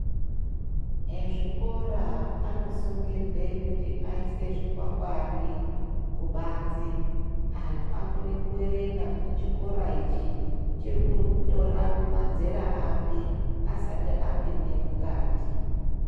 Ezvikora anosungira kuisa zvikwangwari kubanze kuti antu akone kuerenga kuti chikora ichi cirikutora mazera api asati apinda mukati.